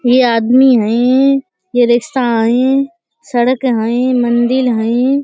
ये आदमी हयें ये रिक्शा हयें सड़क हयें मंदिल हयें ।